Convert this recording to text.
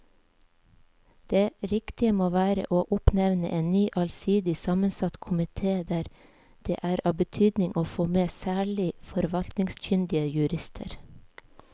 Det riktige må være å oppnevne en ny allsidig sammensatt komite der det er av betydning å få med særlig forvaltningskyndige jurister.